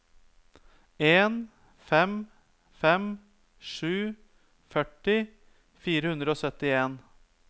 en fem fem sju førti fire hundre og syttien